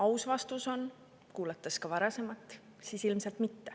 Aus vastus on, kuulates ka varasemat, et ilmselt mitte.